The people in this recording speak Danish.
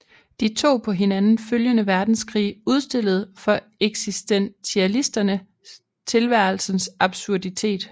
De to på hinanden følgende verdenskrige udstillede for eksistentialisterne tilværelsens absurditet